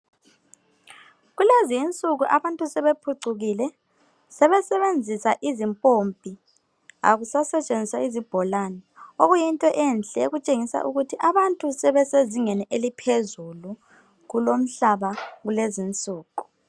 Kulezi insuku abantu sebephucukile sebesebenzisa izimpompi akusasetshenziswa zibholani okutshengisa ukuthi abantu sebesezingeni eliphezulu kulomhlaba kulezinsuku.